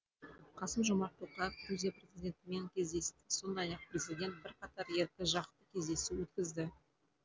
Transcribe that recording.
қасым жомарт тоқаев грузия президентімен кездесті сондай ақ президент бірқатар екіжақты кездесу өткізді